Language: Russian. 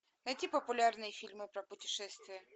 найти популярные фильмы про путешествия